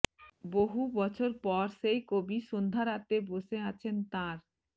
বহু বছর পর সেই কবি সন্ধ্যারাতে বসে আছেন তার